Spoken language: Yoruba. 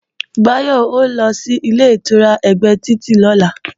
Báyọ̀ ó lọ sílé ìtura ẹ̀gbẹ́ títì lọ́la